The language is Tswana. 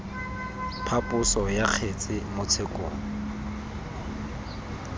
phaposo ya kgetse mo tshekong